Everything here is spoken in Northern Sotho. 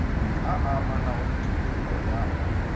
a amanago le tokollo ya